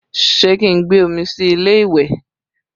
Ṣé kí n gbé omi sí ilé ìwẹ̀?